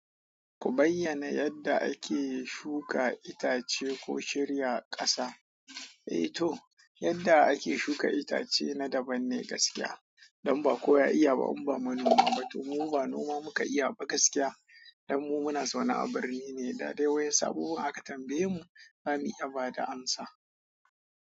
Ku bayyana yadda ake shuka itace ko shirya ƙasa. Eh to, yadda ake shuka itace na daban ne gaskiya. Dan ba kowa ya iya ba. Inn ba ma noma ba domin mu ba noma muka iya ba gaskiya. Dan mu muna zaune abirni ne da dai waƴansu abubuwan aka tambaye mu, za mu iya ba da amsa.